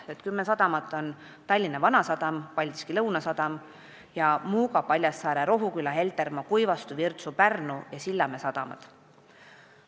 Need kümme on Tallinna Vanasadam, Paldiski Lõunasadam ja Muuga, Paljassaare, Rohuküla, Heltermaa, Kuivastu, Virtsu, Pärnu ja Sillamäe sadam.